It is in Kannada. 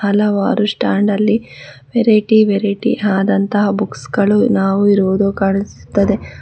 ಹಲವಾರು ಸ್ಟಾಂಡಲ್ಲಿ ವೆರೈಟಿ ವೆರೈಟಿ ಆದಂತ ಬುಕ್ಸ್ ಗಳು ನಾವು ಇರುವುದು ಕಾಣಿಸುತ್ತದೆ.